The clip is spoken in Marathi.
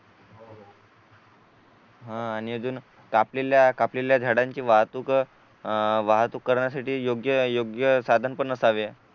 हा आणि अजून कापलेल्या कापलेल्या झाडांची वाहतूक अह वाहतूक करण्यासाठी योग्य साधन पण असावे